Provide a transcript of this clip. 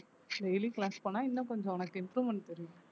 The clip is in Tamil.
daily class போனா இன்னும் கொஞ்சம் உனக்கு improvement தெரியும்